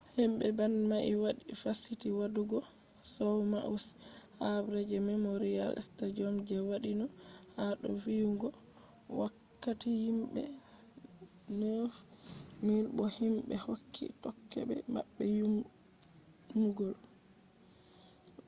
himbe band mai wadi fasiti wadugo show maui’s habre je memorial stadium je wadino ha do viyugo wakkati himbe 9,000 bo himbe hokke tokkobe mabbe munyal